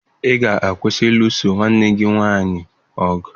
Ị ga-akwụsị ịlụso nwanne gị nwaanyị ọgụ!